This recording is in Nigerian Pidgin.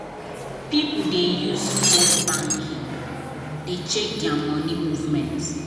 people dey use phone banking dey check there money movement.